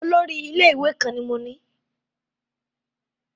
Olórí ilé-ìwé kan ni mo ní.